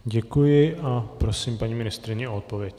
Děkuji a prosím paní ministryní o odpověď.